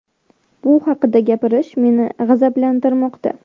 Bu haqida gapirish meni g‘azablantirmoqda.